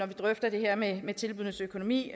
vi drøfter det her med med tilbuddenes økonomi